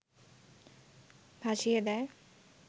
ভাসিয়ে দেয়